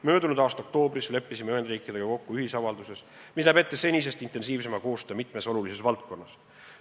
Möödunud aasta oktoobris leppisime Ühendriikidega kokku ühisavalduse, mis näeb ette senisest intensiivsema koostöö mitmes olulises valdkonnas.